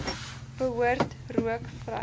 behoort rook vry